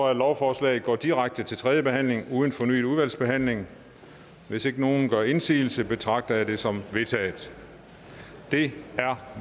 at lovforslaget går direkte til tredje behandling uden fornyet udvalgsbehandling hvis ikke nogen gør indsigelse betragter jeg det som vedtaget det er